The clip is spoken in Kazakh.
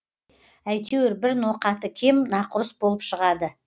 әйтеуір бір ноқаты кем нақұрыс болып шығады